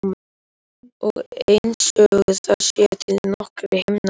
Og einsog það séu til nokkrir himnar.